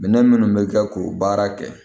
Minɛn minnu bɛ kɛ k'o baara kɛ